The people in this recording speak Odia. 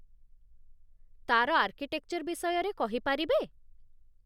ତା'ର ଆର୍କିଟେକ୍ଚର୍ ବିଷୟରେ କହିପାରିବେ?